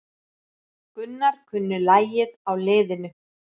Gunnar kunni lagið á liðinu.